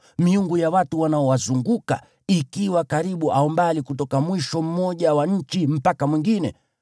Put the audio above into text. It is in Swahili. miungu ya watu wanaowazunguka, ikiwa karibu au mbali, kutoka mwisho mmoja wa nchi mpaka mwingine),